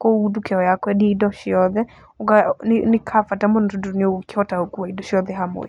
kũu nduka ĩyo ya kwendia indo ciothe, nĩ ka bata mũno tondũ nĩ ũgũkĩhota gũkua indo ciothe hamwe.